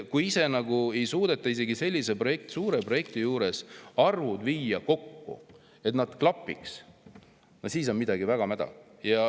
Kui ei suudeta isegi sellise suure projekti arve kokku viia, nii et need klapiks, no siis on midagi väga mäda.